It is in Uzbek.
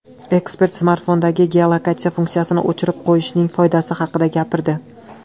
Ekspert smartfondagi geolokatsiya funksiyasini o‘chirib qo‘yishning foydasi haqida gapirdi.